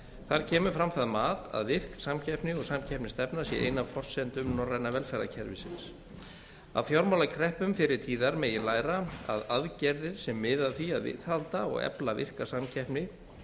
þar kemur fram það mat að virk samkeppni og samkeppnisstefna sé ein af forsendum norræna velferðarkerfisins af fjármálakreppum fyrri tíðar megi læra að aðgerðir sem miða að því að viðhalda og efla virka samkeppni